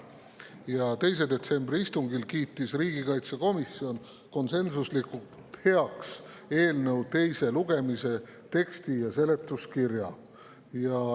Ja 2. detsembri istungil kiitis riigikaitsekomisjon konsensuslikult heaks eelnõu teise lugemise teksti ja seletuskirja.